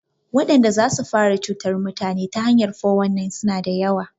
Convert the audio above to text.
Wadanda zasu fara cutar mutane ta hanyan 419 suna da yawa